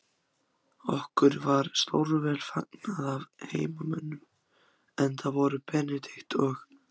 Okkur var stórvel fagnað af heimamönnum, enda voru Benedikt og